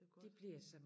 Det godt